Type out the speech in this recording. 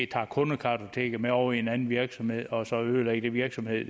tager kundekartoteket med over i en anden virksomhed og så måske ødelægger den virksomhed